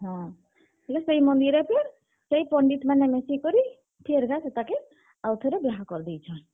ହଁ, ବେଲେ ସେହି ମନ୍ଦିରେ ଫେର୍, ସେହି ପଣ୍ଡିତ୍ ମାନେ ମିଶି କରି ଫେର୍ ଘାଏ ସେତାକେ, ଆଉ ଥରେ ବିହା କରି ଦେଇଛନ୍।